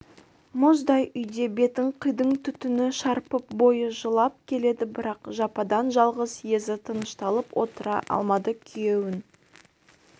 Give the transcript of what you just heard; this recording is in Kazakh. мұздай үйде бетін қидың түтіні шарпып бойы жылып келеді бірақ жападан-жалғыз езі тынышталып отыра алмады күйеуін